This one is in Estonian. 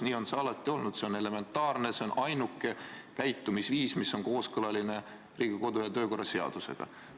Nii on see alati olnud – see on elementaarne, see on ainuke käitumisviis, mis on kooskõlas Riigikogu kodu- ja töökorra seadusega.